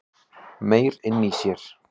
Meyr inni í sér